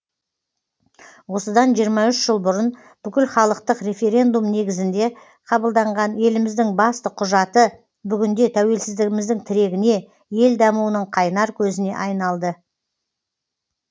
осыдан жиырма үш жыл бұрын бүкілхалықтық референдум негізінде қабылданған еліміздің басты құжаты бүгінде тәуелсіздігіміздің тірегіне ел дамуының қайнар көзіне айналды